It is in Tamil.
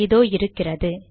இதோ இருக்கிறது